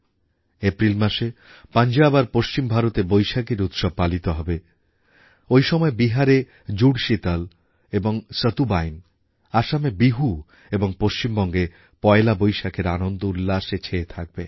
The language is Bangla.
এপ্রিল মাসে পঞ্জাব আর পশ্চিম ভারতে বৈশাখীর উৎসব পালিত হবে ওই সময় বিহারে জুড়শিতল এবং সতুবাইন আসামে বিহু এবং পশ্চিমবঙ্গে পয়লা বৈশাখের আনন্দউল্লাসে ছেয়ে থাকবে